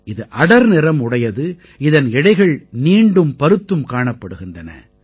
இது அடர்நிறம் உடையது இதன் இழைகள் நீண்டும் பருத்தும் காணப்படுகின்றன